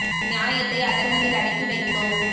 நியாயத்தை அதர்மத்தில் அடக்கி வைத்தோம்